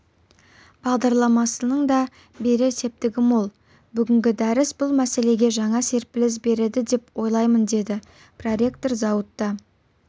бағдарламасының да берер септігі мол бүгінгі дәріс бұл мәселеге жаңа серпіліс береді деп ойлаймын дейді проректор зауытта